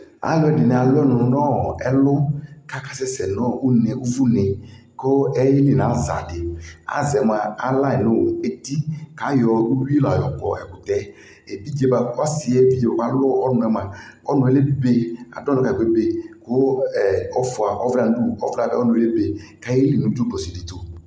Alʋ ɛdι nι alʋ ɔnʋ nʋ ɔɔ ɛlʋ, kʋ akasɛ sɛ nʋ une, ʋvʋ ne, kʋ aye li nʋ aza dι Aza yɛ mua, ala yι nʋ eti kʋ ayɔ uyui la yɔ kɔ ɛkʋtɛ yɛ Evidze yɛ,,ɔsι yɛ bʋa kʋ alʋ ɔnʋ yɛ mʋa, ɔnʋ yɛ lebe, adʋ ɔnʋ kayι kʋ, ebe kʋ ɛɛ ɔfʋa ɔvla yɛ nʋ udu ɔka, ɔnʋ yɛ ebe kʋ ayeli nʋ dzʋklɔ si dι tʋ